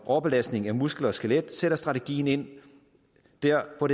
overbelastning af muskel og skelet sætter strategien ind der hvor